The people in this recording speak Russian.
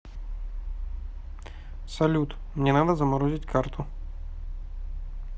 салют мне надо заморозить карту